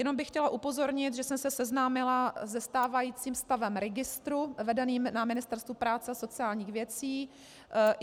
Jenom bych chtěla upozornit, že jsem se seznámila se stávajícím stavem registru vedeného na Ministerstvu práce a sociálních věcí.